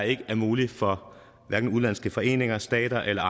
ikke er muligt for hverken udenlandske foreninger stater eller